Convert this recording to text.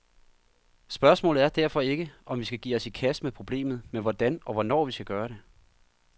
Spørgsmålet er derfor ikke, om vi skal give os i kast med problemet, men hvordan og hvornår vi skal gøre det.